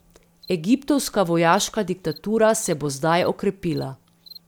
Egiptovska vojaška diktatura se bo zdaj okrepila.